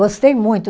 Gostei muito.